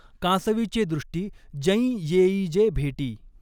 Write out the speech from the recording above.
कांसवीचॆ दृष्टी जैं यॆ ई जे भॆटी.